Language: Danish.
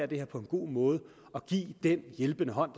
det her på en god måde og give den hjælpende hånd